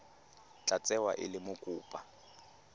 tla tsewa e le mokopa